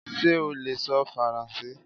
Ṣé o lè sọ Faransé?